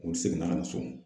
U seginna ka na so